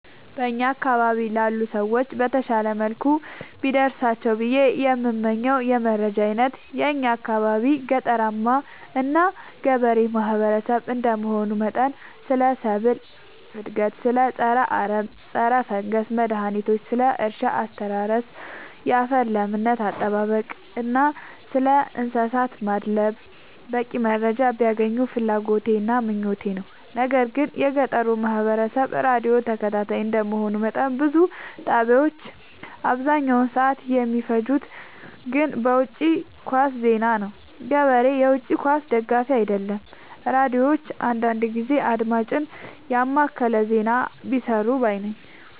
በእኛ አካባቢ ላሉ ሰዎች በተሻለ መልኩ ቢደርሳቸው ብዬ የምመኘው የመረጃ አይነት የእኛ አካባቢ ገጠራማ እና ገበሬ ማህበሰብ እንደመሆኑ መጠን ስለ ሰብል እድገት ስለ ፀረ አረም ፀረፈንገስ መድሀኒቶች ስለ እርሻ አስተራረስ ያፈር ለምነት አጠባበቅ እና ስለእንሰሳት ማድለብ በቂ መረጃ ቢያገኙ ፍላጎቴ እና ምኞቴ ነው። ነገር ግን የገጠሩ ማህበረሰብ ራዲዮ ተከታታይ እንደ መሆኑ መጠን ብዙ ጣቢያዎች አብዛኛውን ሰዓት የሚፈጅት ግን በውጪ ኳስ ዜና ነው። ገበሬ የውጪ ኳስ ደጋፊ አይደለም ሚዲያዎች አንዳንዳንድ ጊዜ አድማጭን የማከለ ዜና ቢሰሩ ባይነኝ።